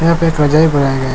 यहाँ पे एक रजाई बनाई है।